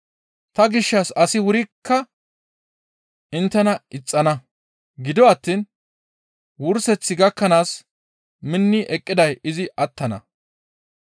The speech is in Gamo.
Ta gishshas asi wurikka inttena ixxana. Gido attiin wurseth gakkanaas minni eqqiday izi attana.